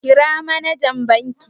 Kira manajan bankin.